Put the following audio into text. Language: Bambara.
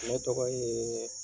Ne tɔgɔ ye